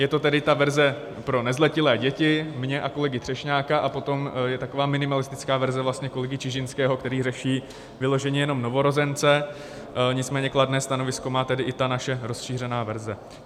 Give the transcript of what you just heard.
Je to tedy ta verze pro nezletilé děti mě a kolegy Třešňáka a potom je taková minimalistická verze kolegy Čižinského, který řeší vyloženě jenom novorozence, nicméně kladné stanovisko má tedy i ta naše rozšířená verze.